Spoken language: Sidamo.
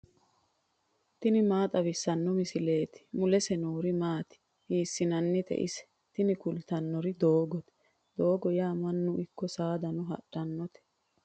tini maa xawissanno misileeti ? mulese noori maati ? hiissinannite ise ? tini kultannori doogote. doogo yaa mannuno ikko saadano hadhannote.